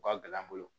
U ka gɛlɛn an bolo